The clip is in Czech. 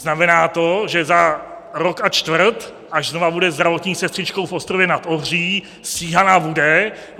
Znamená to, že za rok a čtvrt, až znova bude zdravotní sestřičkou v Ostrově nad Ohří, stíhaná bude.